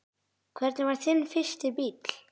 Hvernig var þinn fyrsti bíll?